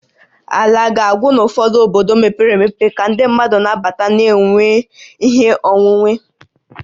Ala ga-agwụ n'ụfọdụ obodo mepere emepe ka ndị mmadụ na-abata ma na-enweta ihe onwunwe